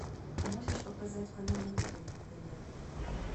можешь показать канал рубль на тв